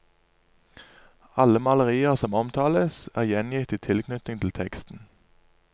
Alle malerier som omtales, er gjengitt i tilknytning til teksten.